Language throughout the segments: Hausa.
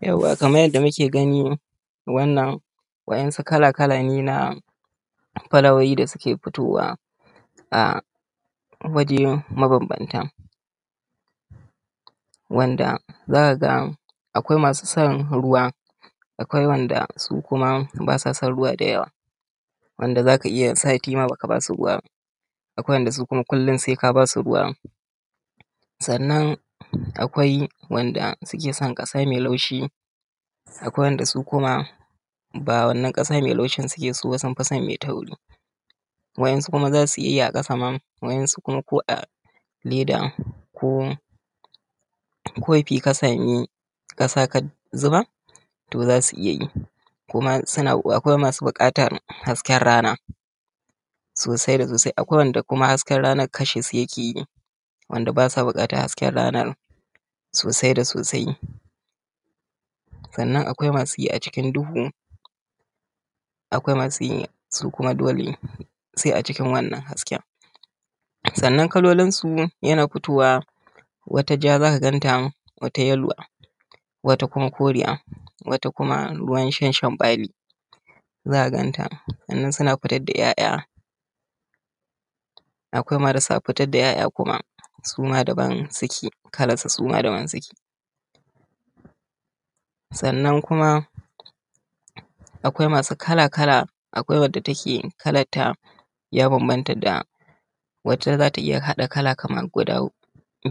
Yauwa kamar yanda muke gani wannan wa’insu kala_kala ne na fulawoyi da suke fitowa a waje mabambanta wanda za ka ga akwai masu san ruwa, akwai wanda su kuma ba sa son ruwa da yawa. Wanda za ka iya sati ma ba ka ba su ruwa ba. Akwai wanda su kuma kullum sai ka ba su ruwa, sannan akwai wanda suke son ƙasa mai laushi, akwai wanda su kuma ba wannan ƙasa mai laushi suke so ba, sun fi son mai tauri. Wa’yansu kuma za su iya yi a ƙasa ma wa’yansu kuma ko a leda ko kofi ka samu ƙasa ka zuba za su iya yi. Kuma akwai masu buƙatan hasken rana sosai da sosai, akwai wanda hasken rana kashe su yake yi. Wanda ba sa buƙatan hasken rana sosai da sosai sannan akwai masu yi a cikin duhu, akwai masu yi su kuma dole sai a cikin wannan hasken. Sannan kalolinsu yana fitowa wata ja za ka ganta, wata yeluwa, wata kuma koriya, wata kuma ruwan shan shan bali za ka ganta. Sannan suna fitar da ‘ya’ya, akwai marasa fitar da ‘ya’ya suma daban suke kalan su suma daban suke. Sannan kuma akwai masu kala kala akwai wanda take kalanta ya bambanta da wace za ta iya hada kala kamar guda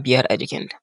biyar a jikinta.